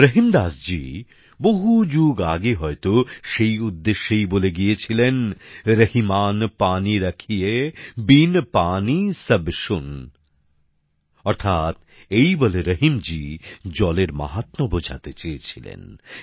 রহীম দাসজী বহু যুগ আগে হয়তো সেই উদ্দেশ্যেই বলে গিয়েছিলেন রহিমান পানি রাখিয়ে বিন পানি সব শূন অর্থাৎ এই বলে রহিম জী জলের মাহাত্য বোঝাতে চেয়েছিলেন